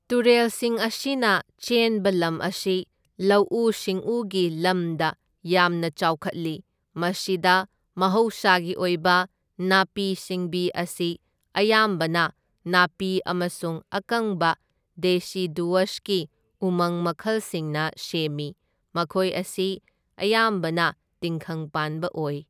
ꯇꯨꯔꯦꯜꯁꯤꯡ ꯑꯁꯤꯅ ꯆꯦꯟꯕ ꯂꯝ ꯑꯁꯤ ꯂꯧꯎ ꯁꯤꯡꯎꯒꯤ ꯂꯝꯗ ꯌꯥꯝꯅ ꯆꯥꯎꯈꯠꯂꯤ, ꯃꯁꯤꯗ ꯃꯍꯧꯁꯥꯒꯤ ꯑꯣꯏꯕ ꯅꯥꯄꯤ ꯁꯤꯡꯕꯤ ꯑꯁꯤ ꯑꯌꯥꯝꯕꯅ ꯅꯥꯄꯤ ꯑꯃꯁꯨꯡ ꯑꯀꯪꯕ ꯗꯦꯁꯤꯗꯨꯋꯁꯀꯤ ꯎꯃꯪ ꯃꯈꯜꯁꯤꯡꯅ ꯁꯦꯝꯃꯤ, ꯃꯈꯣꯏ ꯑꯁꯤ ꯑꯌꯥꯝꯕꯅ ꯇꯤꯡꯈꯪ ꯄꯥꯟꯕ ꯑꯣꯏ꯫